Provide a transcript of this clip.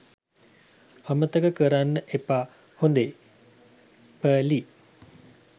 අමතක කරන්න එපා හොදේ. ප.ලි.